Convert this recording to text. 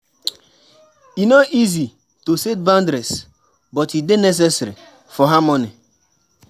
E no easy to set boundaries, but e dey necessary for harmony.